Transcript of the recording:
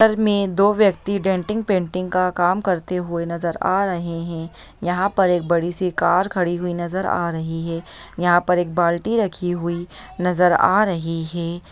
टर में दो व्यक्ति डेंटिंग पेंटिंग का काम करते हुए नजर आ रहे हैं यहाँ पर एक बड़ी-सी कार खड़ी हुई नजर आ रही है यहाँ पर एक बाल्टी रखी हुई नजर आ रही है।